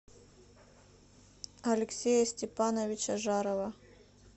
алексея степановича жарова